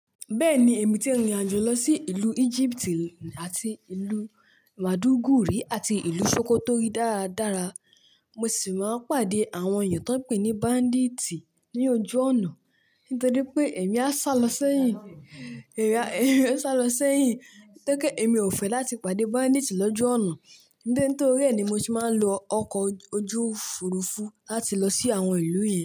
Bẹ́ẹ̀ni, èmi ti rìnrìn àjò lọ sí ìlú Egypt, àti ìlú Madaguri, àti ìlú Sokoto rí dáradára. Mo sì máa ń pàdé àwọn èèyàn tó ń pè ní bandit ní ojú ònà. Nítorí pé èmi á sálọ síẹ̀yìn, èmi á sálọ síẹ̀yìn. Nítorí pé èmi ò fẹ́ láti pàdé bandit lloju ọnà. Nítorí ẹ́ ni mo se máa ń lo ọkọ̀ ojú òfurufú láti lọ sí àwọn ìlú yẹn.